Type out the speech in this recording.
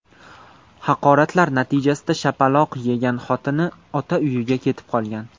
Haqoratlar natijasida shapaloq yegan xotini ota uyiga ketib qolgan.